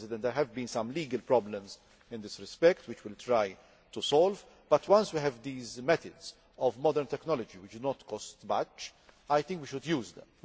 There have been some legal problems in this respect which we will try to solve, but since we have these methods of modern technology which do not cost much I think we should use them.